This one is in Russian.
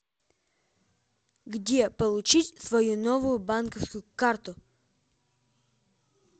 где получить свою новую банковскую карту